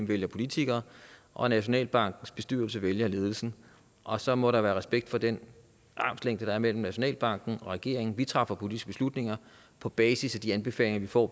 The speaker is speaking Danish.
vælge politikere og at nationalbankens bestyrelse skal vælge ledelse og så må der være respekt for den armslængde der er mellem nationalbanken og regeringen vi træffer politiske beslutninger på basis af de anbefalinger vi får